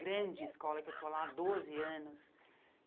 grande escola, que eu estou lá há 12 anos.